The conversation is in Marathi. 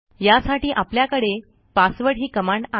यासाठी आपल्याकडे passwdही कमांड आहे